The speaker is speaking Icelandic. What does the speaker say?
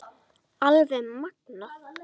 Alveg magnað!